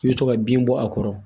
I bɛ to ka bin bɔ a kɔrɔ